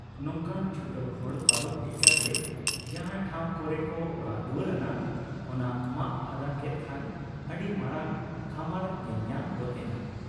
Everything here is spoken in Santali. ᱱᱚᱝᱠᱟᱱ ᱪᱷᱩᱴᱟᱹᱣ ᱦᱚᱲ ᱯᱟᱨᱚᱢ ᱦᱮᱡ ᱠᱟᱛᱮ ᱡᱟᱦᱟᱸ ᱴᱷᱟᱶ ᱠᱚᱨᱮ ᱠᱚ ᱚᱲᱟᱜ ᱫᱩᱣᱟᱹᱨ ᱟᱱᱟ , ᱚᱱᱟ ᱢᱟᱜ ᱯᱷᱟᱫᱟ ᱠᱮᱫ ᱠᱷᱟᱱ ᱟᱹᱰᱤ ᱢᱟᱨᱟᱝ ᱠᱷᱚᱢᱟᱨ ᱧᱮᱞᱧᱟᱢ ᱜᱚᱫ ᱮᱱᱟ ᱾